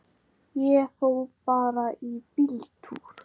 Ég fór bara í bíltúr.